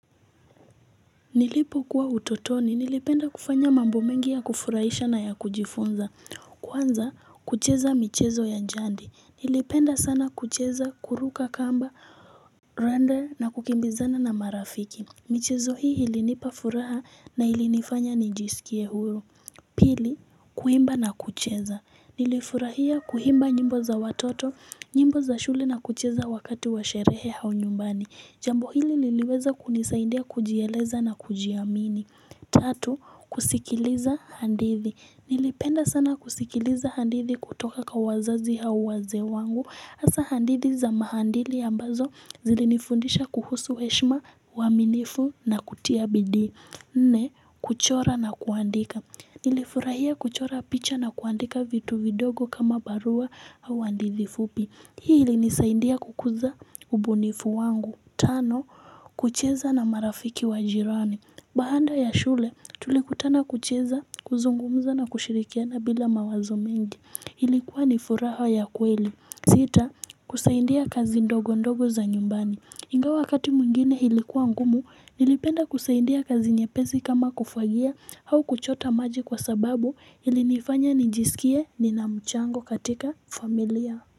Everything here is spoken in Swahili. Nilipokuwa utotoni nilipenda kufanya mambo mengi ya kufurahisha na ya kujifunza kwanza kucheza michezo ya jadi nilipenda sana kucheza kuruka kamba rande na kukimbizana na marafiki michezo hii ilinipa furaha na ilinifanya nijisikie huyo Pili, kuimba na kucheza. Nilifurahia kuhimba njimbo za watoto, njimbo za shuli na kucheza wakati wa sherehe hau nyumbani. Jambo hili niliweza kunisaindia kujieleza na kujiamini. Tatu, kusikiliza handithi. Nilipenda sana kusikiliza hadithi kutoka ka wazazi hau waze wangu. Asa handithi za mahandili ambazo zilinifundisha kuhusu eshma, uaminifu na kutia bidi. Nne, kuchora na kuandika. Nilifurahia kuchora picha na kuandika vitu vidogo kama barua au hadithi fupi. Hii ilinisaindia kukuza ubunifu wangu. Tano kucheza na marafiki wa jirani Bahanda ya shule tulikutana kucheza kuzungumza na kushirikiana bila mawazo mengi Hilikuwa ni furaha ya kweli Sita kusaindia kazi ndogo ndogo za nyumbani Nga wakati mungine hilikuwa ngumu nilipenda kusaindia kazi nyepezi kama kufagia au kuchota maji kwa sababu ili nifanya nijisikie nina mchango katika familia ya.